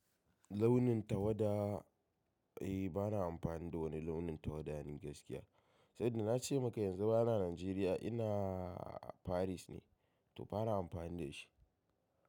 Launin tawada, eh ba na amfani da wani launin tawada ni gaskiya. Sabida na ce maka yanzu ba na Najeriya, ina Paris ne, to ba na amfani da shi.